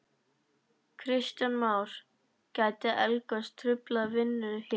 Kristján Már: Gæti eldgos truflað vinnu hér?